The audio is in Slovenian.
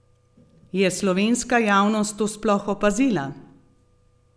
Je slovenska javnost to sploh opazila?